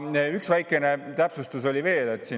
Üks väikene täpsustus oli veel.